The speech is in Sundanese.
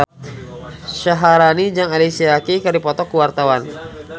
Syaharani jeung Alicia Keys keur dipoto ku wartawan